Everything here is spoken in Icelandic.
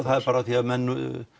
það er bara af því að menn